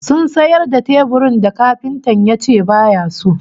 Sun sayar da teburin da kafintan yace baya so